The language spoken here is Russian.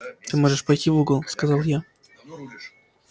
ты можешь пойти в угол сказал я